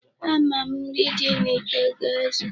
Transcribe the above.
Ama m, nri dị n'ite ga-ezu.